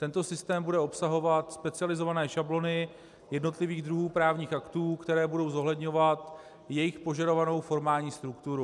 Tento systém bude obsahovat specializované šablony jednotlivých druhů právních aktů, které budou zohledňovat jejich požadovanou formální strukturu.